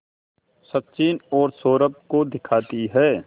सचिन और सौरभ को दिखाती है